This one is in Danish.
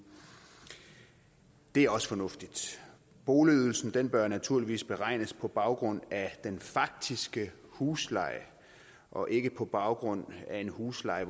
det er også fornuftigt boligydelsen bør naturligvis beregnes på baggrund af den faktiske husleje og ikke på baggrund af en husleje